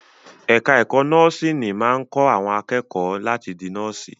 Ẹ̀ka ẹ̀kó nọ́ọ̀sìnì máa ń kọ́ àwọn akẹ́kọ̀ọ́ láti di nọ́ọ̀sì.